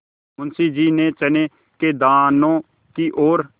मुंशी जी ने चने के दानों की ओर